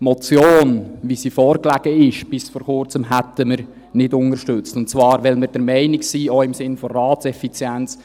Die Motion, wie sie bis vor Kurzem vorlag, hätten wir nicht unterstützt, und zwar, weil wir der Meinung sind, auch im Sinne der Ratseffizienz: